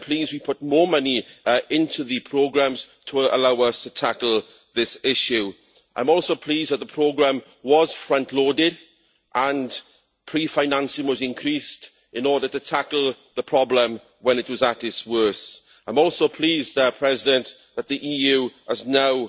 I am pleased we have put more money into the programmes to allow us to tackle this issue. I am also pleased that the programme was front loaded and pre financing was increased in order to tackle the problem when it was at its worst. I am also pleased that the EU has